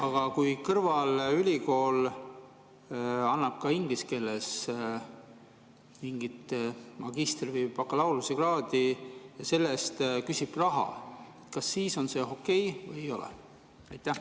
Aga kui kõrvalülikool annab inglise keeles mingit magistri‑ või bakalaureusekraadi ja küsib selle eest raha, kas siis see on okei või ei ole?